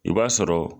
I b'a sɔrɔ